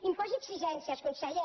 imposi exigències conseller